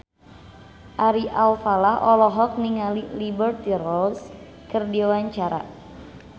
Ari Alfalah olohok ningali Liberty Ross keur diwawancara